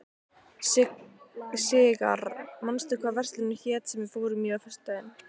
Sigarr, manstu hvað verslunin hét sem við fórum í á föstudaginn?